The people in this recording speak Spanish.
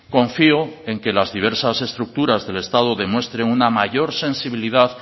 confío en que las diversas estructuras del estado demuestren una mayor sensibilidad